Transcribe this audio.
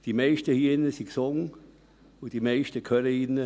Die meisten sind gesund und die meisten hören gut.